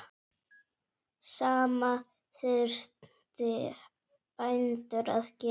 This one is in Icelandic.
Sama þurfi bændur að gera.